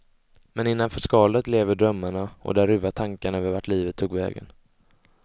Men innanför skalet lever drömmarna och där ruvar tankarna över vart livet tog vägen.